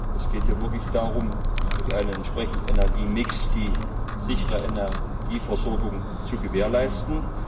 Es geht hier wirklich darum, durch einen entsprechenden Energiemix die sichere Energieversorgung zu gewährleisten.